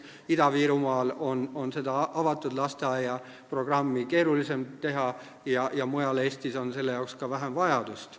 Ida-Virumaal on avatud lasteaia programmi teha palju keerulisem ja mujal Eestis on selle jaoks ka vähem vajadust.